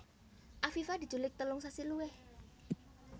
Afifa diculik telung sasi luwih